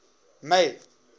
may